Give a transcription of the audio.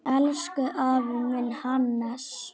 Elsku afi minn, Hannes.